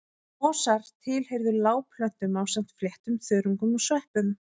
Mosar tilheyrðu lágplöntum ásamt fléttum, þörungum og sveppum.